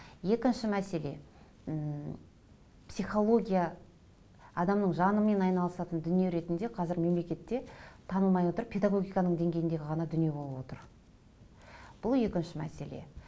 екінші мәселе м психология адамның жанымен айналыстын дүние ретінде қызір мемлекетте танылмай отыр педагогиканың деңгейіндегі ғана дүние болып отыр бұл екінші мәселе